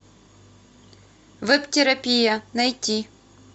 веб терапия найти